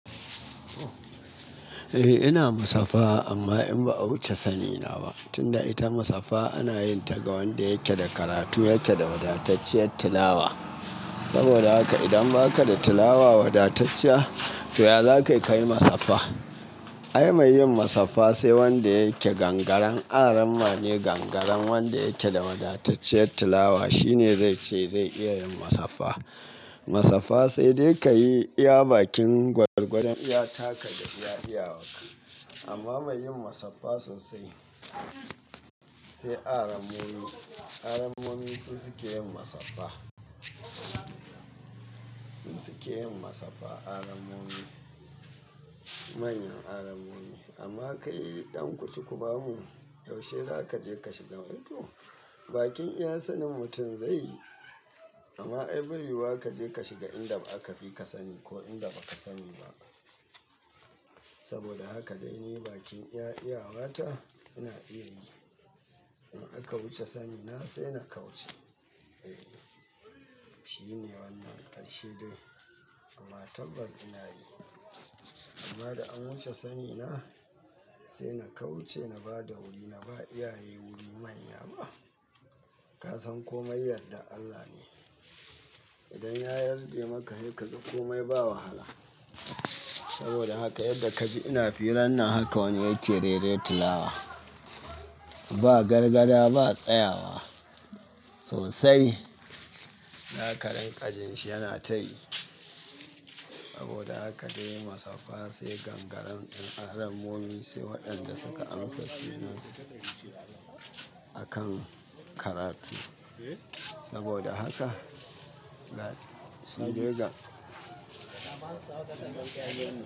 Eh ina musaffa amma in ba a wuce sani na ba. Tunda ita musaffa ana yin ta ga wanda yake da karatu, yake da wadatacciyar tilawa. Saboda haka idan baka da tilawa wadatacciya to ya zakai kayi musafaha. Ai mai yin musaffa sai wanda yake gangaran aramma ne gangaran wanda yake da wadatacciyar tilawa shine zai ce zai iya yin musaffa. Musaffa sai dai ka yi iya bakin gwargwadon iya taka da iya iyawarka. Amma mai yin musaffa sosai sai arammomi. Arammomi sun suke yin musaffa. Su suke yin musaffa arammomi manyan arammomi. Amma kai dan ku ci ku ba mu, yaushe za ka je ka shiga wajen? Eh to bakin iya sanin mutum zai yi. Amma ai bai yiwuwa ka je ka shiga inda ba aka fi ka sani ko inda baka sani ba. Saboda haka dai ne bakin iya iyawata ina iya yi. In aka wuce sani na sai na kauce. E shi ne wannan ƙarshe dai amma tabbat ina yi. Amma da an wuce sani na sai na kauce na ba da wuri na ba iyaye wuri manya ba. Ka san komai yardar Allah ne. Idan ya yarde maka he kaga komai ba wahala. Saboda haka yadda ka ji ina firan nan haka wani yake rere tilawa ba gargaɗa ba tsayawa sosai. Zaka rinka jinshi yana ta yi. Saboda haka dai musaffa sai gangaren arammomi sai waɗanda suka amsa sunansu akan karatu. Saboda haka sai dai ka.